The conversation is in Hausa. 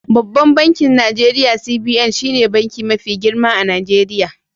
Babban bankin Najeriya CBN shine banki mafi girma a Najeriya.